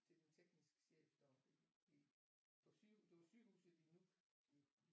Til den tekniske chef deroppe i på sygehuset det var sygehuset i Nuuk